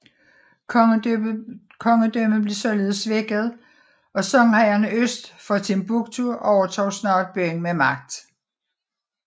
Kongedømmet blev således svækket og songhayerne øst for Timbuktu overtog snart byen med magt